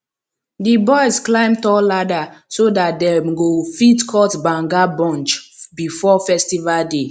di boys climb tall ladder so dat dem go fit cut banga bunch before festival day